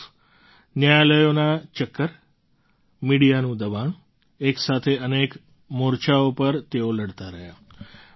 એક તરફ ન્યાયાલયોના ચક્કર મિડિયાનું દબાણ એક સાથે અનેક મોરચાઓ પર તેઓ લડતા રહ્યા